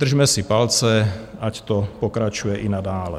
Držme si palce, ať to pokračuje i nadále.